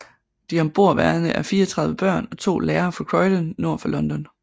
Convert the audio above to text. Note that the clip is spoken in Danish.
De ombordværende er 34 børn og 2 lærere fra Croydon nord for London